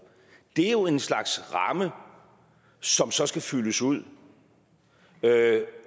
det er jo en slags ramme som så skal fyldes ud